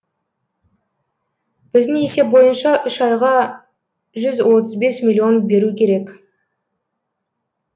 біздің есеп бойынша үш айға жүз отыз бес миллион беру керек